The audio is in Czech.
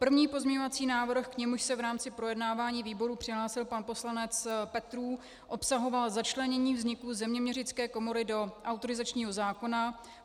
První pozměňovací návrh, k němuž se v rámci projednávání výboru přihlásil pan poslanec Petrů, obsahoval začlenění vzniku Zeměměřické komory do autorizačního zákona.